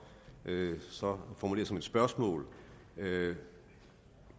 formulere som et spørgsmål